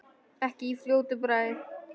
Ekki í fljótu bragði.